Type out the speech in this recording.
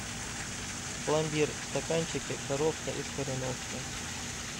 пломбир в стаканчике коровка из кореновки